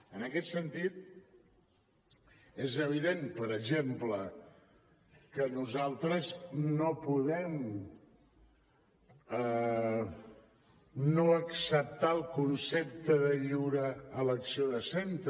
en aquest sentit és evident per exemple que nosaltres no podem no acceptar el concepte de lliure elecció de centre